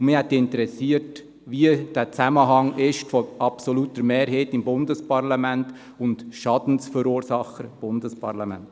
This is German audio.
Mich hätte interessiert, welches der Zusammenhang ist zwischen der absoluten Mehrheit im Bundesparlament und dem Schadensverursacher Bundesparlament.